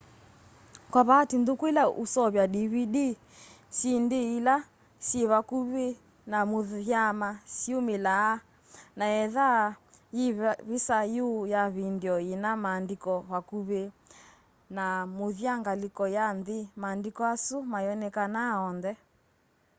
kwa vaatĩĩ nthũkũ ĩla ũseũvya dvd syĩndĩ ĩla syĩ vakũmĩ na mũthya sĩyũmĩlaa na etha yĩ vĩsa yũ ya vĩndĩo yĩna maandĩko vakũvĩ na mũthya ngalĩko ya nthĩ maandĩko asũ mayonekanaa onthe